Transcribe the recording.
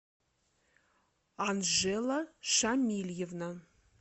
анжела шамильевна